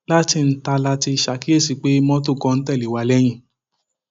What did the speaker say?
láti ńta la ti ṣàkíyèsí pé mọtò kan ń tẹlé wa lẹyìn